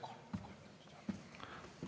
Palun!